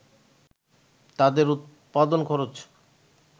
তাদের উৎপাদন খরচ